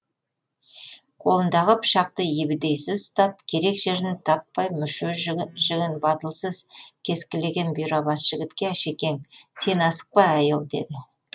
қолындағы пышақты ебедейсіз ұстап керек жерін таппай мүше жігін батылсыз кескілеген бұйра бас жігітке әшекең сен асықпа әй ұл деді